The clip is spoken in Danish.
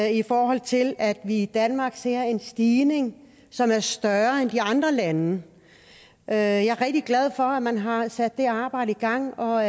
i forhold til at vi i danmark ser en stigning som er større end i andre lande jeg er rigtig glad for at man har sat det arbejde i gang og